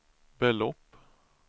belopp